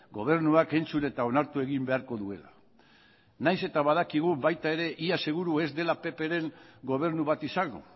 gobernuak entzun eta onartu egin beharko duela nahiz eta badakigun baita ere ia seguru ez dela ppren gobernu bat izango